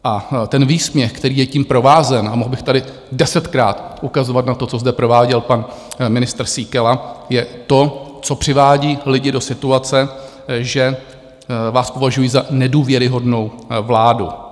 A ten výsměch, který je tím provázen, a mohl bych tady desetkrát ukazovat na to, co zde prováděl pan ministr Síkela, je to, co přivádí lidi do situace, že vás považují za nedůvěryhodnou vládu.